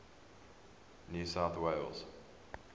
new south wales